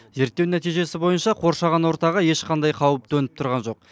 зерттеу нәтижесі бойынша қоршаған ортаға ешқандай қауіп төніп тұрған жоқ